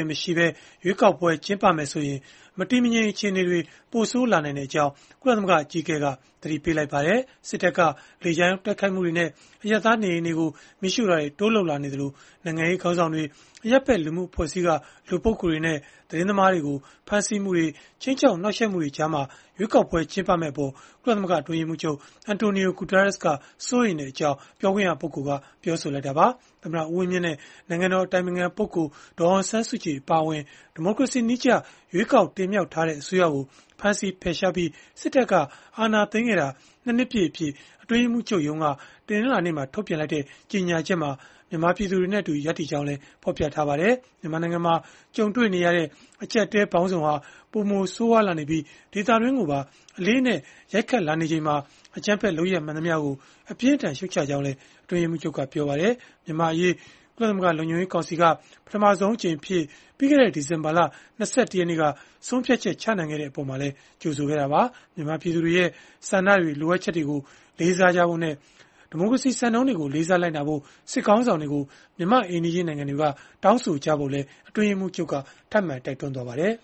ေမရှိဘဲ ရွေးကောက်ပွဲကျင်းပမယ်ဆိုရင် မတည်မငြိမ်အခြေအနေတွေ ပိုဆိုးလာနိုင်ကြောင်း ကုလသမဂ္ဂအကြီးအကဲက သတိပေးလိုက်ပါတယ်။ စစ်တပ်က လေကြောင်းတိုက်ခိုက်မှုတွေနဲ့ အရပ်သားနေအိမ်တွေကို တိုးပြီး မီးရှို့လာနေသလို နိုင်ငံရေးခေါင်းဆောင်တွေ၊ အရပ်ဘက်လူမှုအဖွဲ့အစည်းက လူပုဂ္ဂိုလ်တွေနဲ့ သတင်းသမားတွေကို ဖမ်းဆီးမှုတွေ၊ ခြိမ်းခြောက်နှောက်ယှက်မှုတွေကြားမှာ ရွေးကောက်ပွဲ ကျင်းပမယ့်အပေါ် ကုလသမဂ္ဂအတွင်းရေးမှူးချုပ် Antonio Guterres က စိုးရိမ်ကြောင်း ပြောခွင့်ရပုဂ္ဂိုလ်က ပြောဆိုလိုက်တာပါ။ သမ္မတဦးဝင်းမြင့်နဲ့ နိုင်ငံတော်အတိုင်ပင်ခံပုဂ္ဂိုလ် ဒေါ်အောင်ဆန်းစုကြည်အပါအဝင် ဒီမိုကရေစီနည်းကျ ရွေးကောက်တင်မြှောက်ထားတဲ့အစိုးရကို ဖမ်းဆီးဖယ်ရှားပြီး စစ်တပ်က အာဏာသိမ်းခဲ့တာ ၂ နှစ်ပြည့်အဖြစ် အတွင်းရေးမှူးချုပ်ရုံးက တနင်္လာနေ့မှာ ထုတ်ပြန်လိုက်တဲ့ ကြေညာချက်မှာ မြန်မာပြည်သူတွေနဲ့အတူ ရပ်တည်ကြောင်းလည်း ဖော်ပြထားပါတယ်။ မြန်မာနိုင်ငံမှာ ကြုံတွေ့နေရတဲ့အကျပ်အတည်းပေါင်းစုံဟာ ပိုမိုဆိုးရွားလာနေပြီး ဒေသတွင်းကိုပါ အလေးအနက် ရိုက်ခတ်လာနေချိန်မှာ အကြမ်းဖက်လုပ်ရပ် မှန်သမျှကို အပြင်းအထန် ရှုတ်ချကြောင်းလည်း အတွင်းရေးမှူးချုပ်က ပြောပါတယ်။ မြန်မာ့အရေး ကုလသမဂ္ဂလုံခြုံရေးကောင်စီက ပထမဆုံးအကြိမ်အဖြစ် ပြီးခဲ့တဲ့ ဒီဇင်ဘာလ ၂၁ ရက်နေ့က ဆုံးဖြတ်ချက် ချနိုင်ခဲ့တဲ့အပေါ်မှာလည်း ကြိုဆိုခဲ့တာပါ။ မြန်မာပြည်သူတွေရဲ့ ဆန္ဒတွေ၊ လိုအပ်ချက်တွေကို လေးစားကြဖို့နဲ့ ဒီမိုကရေစီစံနှုန်းတွေကို လေးစားလိုက်နာဖို့ စစ်ခေါင်းဆောင်တွေကို မြန်မာ့အိမ်နီးချင်း နိုင်ငံတွေက တောင်းဆိုကြဖို့လည်း အတွင်းရေးမှူးချုပ်က ထပ်မံတိုက်တွန်းခဲ့ပါတယ်